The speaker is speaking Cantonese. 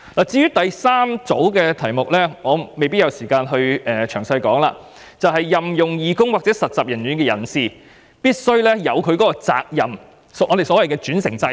至於第三組修正案，我可能沒有時間詳細說明，是關於任用義工或實習人員的人士必須承擔責任，即歧視法例所訂的轉承責任。